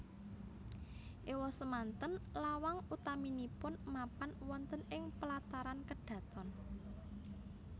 Ewasemanten lawang utaminipun mapan wonten ing pelataran Kedhaton